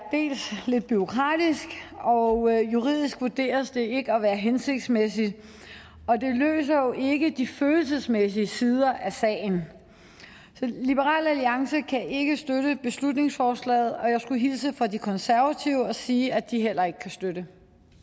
lidt bureaukratisk og juridisk vurderes det ikke at være hensigtsmæssigt og det løser jo ikke de følelsesmæssige sider af sagen så liberal alliance kan ikke støtte beslutningsforslaget og jeg skulle hilse fra de konservative og sige at de heller ikke kan støtte